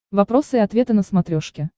вопросы и ответы на смотрешке